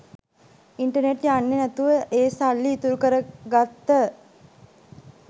internet යන්නෙ නැතිව ඒ සල්ලි ඉතුරු කර ගත්ත